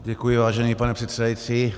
Děkuji, vážený pane předsedající.